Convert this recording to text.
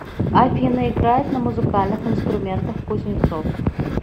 афина играет на музыкальных инструментах кузнецов